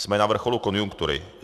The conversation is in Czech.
Jsme na vrcholu konjunktury.